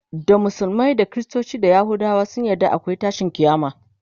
da musulmai da kristoci da yahudawa sun yarda akwai tashin kiyama